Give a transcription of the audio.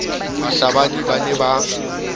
bahlabani ba ne ba ka